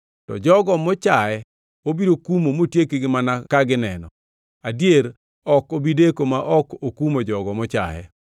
To jogo mochaye obiro kumo motiekgi mana ka gineno, adier ok obi deko ma ok okumo jogo mochaye.